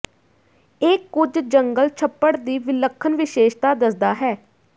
ਇਹ ਕੁਝ ਜੰਗਲ ਛੱਪੜ ਦੀ ਵਿਲੱਖਣ ਵਿਸ਼ੇਸ਼ਤਾ ਦੱਸਦਾ ਹੈ